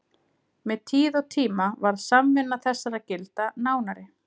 Með tíð og tíma varð samvinna þessara gilda nánari.